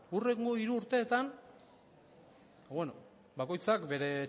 ba beno bakoitzak bere